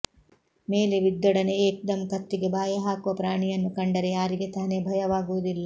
ಮೇಲೆ ಬಿದ್ದೊಡನೆ ಏಕ್ದಂ ಕತ್ತಿಗೆ ಬಾಯಿ ಹಾಕುವ ಪ್ರಾಣಿಯನ್ನು ಕಂಡರೆ ಯಾರಿಗೆ ತಾನೇ ಭಯವಾಗುವುದಿಲ್ಲ